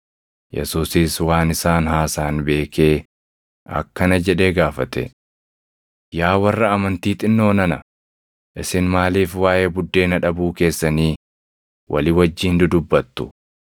Yesuusis waan isaan haasaʼan beekee akkana jedhee gaafate; “Yaa warra amantii xinnoo nana, isin maaliif waaʼee buddeena dhabuu keessanii walii wajjin dudubbattu?